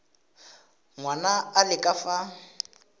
ngwana a le ka fa